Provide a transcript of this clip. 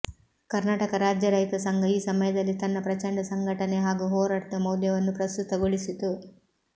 ಕರ್ನಾಟಕ ರಾಜ್ಯ ರೈತ ಸಂಘ ಈ ಸಮಯದಲ್ಲಿ ತನ್ನ ಪ್ರಚಂಡ ಸಂಘಟನೆ ಹಾಗೂ ಹೋರಾಟದ ಮೌಲ್ಯವನ್ನೂ ಪ್ರಸ್ತುತಗೊಳಿಸಿತು